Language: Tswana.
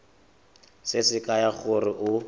se se kaya gore o